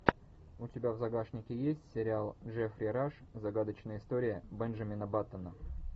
у тебя в загашнике есть сериал джеффри раш загадочная история бенджамина баттона